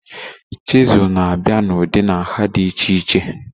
Chizul na-abịa na ụdị na nha dị iche iche